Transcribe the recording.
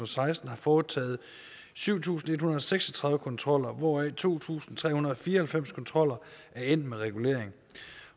seksten har foretaget syv tusind en hundrede og seks og tredive kontroller hvoraf to tusind tre hundrede og fire og halvfems kontroller er endt med regulering